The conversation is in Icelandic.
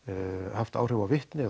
haft áhrif á vitni